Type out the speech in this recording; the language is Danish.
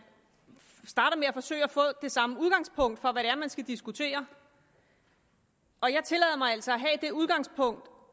starter med at forsøge at få det samme udgangspunkt for hvad det er man skal diskutere og jeg tillader mig altså at have det udgangspunkt